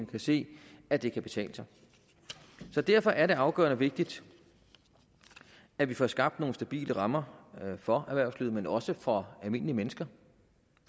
kan se at det kan betale sig så derfor er det afgørende vigtigt at vi får skabt nogle stabile rammer for erhvervslivet men også for almindelige mennesker